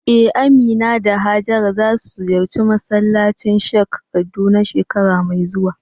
Eh, Amina da Hajara za su ziyarci masallacin Sikh a Kaduna shekara mai zuwa.